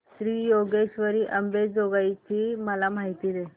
श्री योगेश्वरी अंबेजोगाई ची मला माहिती दे